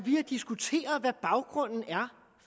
har diskuteret hvad baggrunden er